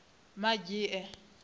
madzhie